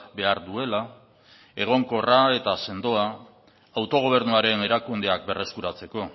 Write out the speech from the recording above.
behar duela egonkorra eta sendoa autogobernuaren erakundeak berreskuratzeko